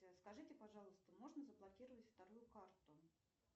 скажите пожалуйста можно заблокировать вторую карту